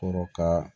Kɔrɔ ka